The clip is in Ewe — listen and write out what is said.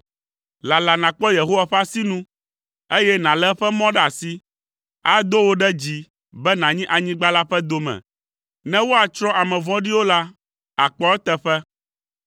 Lala nàkpɔ Yehowa ƒe asinu, eye nàlé eƒe mɔ ɖe asi. Ado wò ɖe dzi be nànyi anyigba la ƒe dome. Ne woatsrɔ̃ ame vɔ̃ɖiwo la, àkpɔ eteƒe.